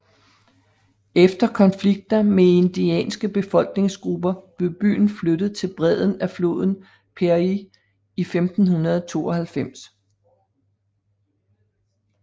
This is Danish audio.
Efter konflikter med indianske befolkningsgrupper blev byen flyttet til bredden af floden Piraí i 1592